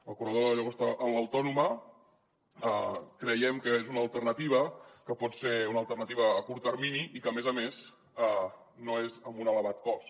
el corredor de la llagosta amb l’autònoma creiem que és una alternativa que pot ser una alternativa a curt termini i que a més a més no és amb un elevat cost